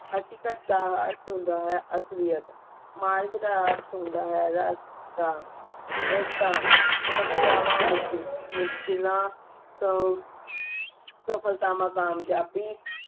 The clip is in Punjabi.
ਹਕੀਕਤ ਦਾ ਅਰਥ ਹੁੰਦਾ ਹੈ ਅਸਲੀਅਤ ਮਾਰਗ ਦਾ ਅਰਥ ਹੁੰਦਾ ਹੈ ਰਸਤਾ ਰਸਤਾ ਸਮਸਿਆ ਮੁਸ਼ਕਿਲਾਂ ਸ ਸਫਲਤਾ ਕਾਮਯਾਬੀ